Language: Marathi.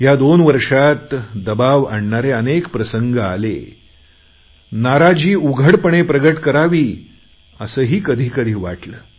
या दोन वर्षात दबाव आणणारे अनेक प्रसंग आले नाराजी उघडपणे प्रगट करावी असेही कधीकधी वाटले